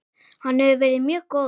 Hann hefur verið mjög góður.